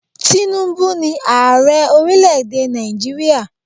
Tinubu ni Ààrẹ ọrílẹ̀ èdè Nàìjíríà.